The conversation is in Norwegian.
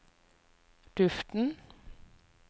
duften